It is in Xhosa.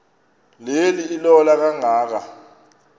le ilola kangaka